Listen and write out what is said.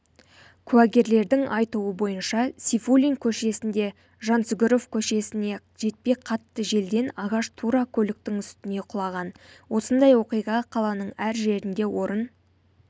куәгерлердің айтуы бойынша сейфулин көшесінде жансүгіров көшесіне жетпей қатты желден ағаш тура көліктің үстіне құлаған осындай оқиға қаланың әр жерінде орын